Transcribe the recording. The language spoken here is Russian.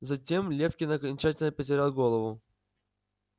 затем лефкин окончательно потерял голову